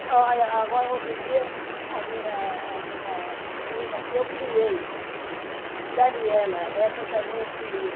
agora, outro dia, a minha, a minha menina que eu criei, Daniela, essa também eu criei.